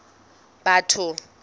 batho